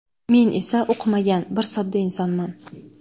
Men esa o‘qimagan, bir sodda insonman.